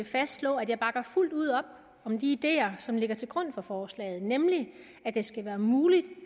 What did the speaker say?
fastslå at jeg bakker fuldt ud op om de ideer som ligger til grund for forslaget nemlig at det skal være muligt